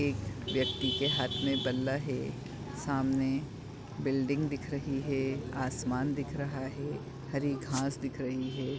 एक व्यकी के हाथ में बल्ला है सामने बिल्डिंग दिख रही है आसमान दिख रहा है हरी घास दिख रही है।